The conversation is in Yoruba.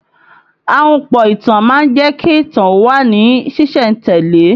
Ahunpọ̀ ìtàn má ń jẹ́ kí ìtàn ó wà ní sìsẹ̀ntele